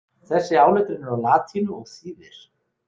Þessi áletrun er á latínu og þýðir.